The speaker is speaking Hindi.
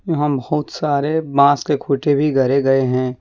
यहां में बहुत सारे बांस के खूंटे भी गाड़े गए हैं।